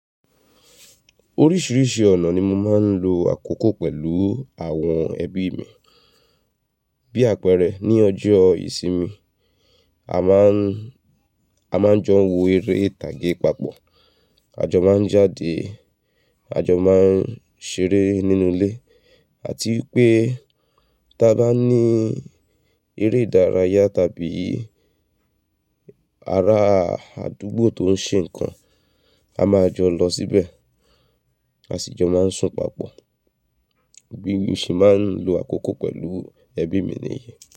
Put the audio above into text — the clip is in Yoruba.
Oríṣìíríṣìí ọ̀nà ni mo máa ń lo àkókò pẹ̀lú àwọn ẹbí mi. Bí àpẹẹrẹ, ní ọjọ́ ìsinmi, a máa ń, a máa ń jọ wo eré ìtàgé papọ̀, a jọ máa ń jáde, a jọ máa ń ṣeré nínú ilé àti wipé tí a bá ní eré ìdárayá tàbí ara àdúgbò tó ń ṣe nǹkan, a máa jọ lọ síbẹ̀, a sì jọ máa ń sùn papọ̀. Bi mo se máa ń lo àkókò pẹ̀lú ẹbí mi nìyẹn.